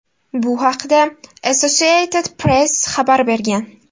Bu haqda Associated Press xabar bergan .